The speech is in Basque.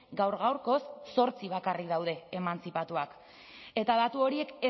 gaur gaurkoz zortzi bakarrik daude emantzipatuak eta datu horiek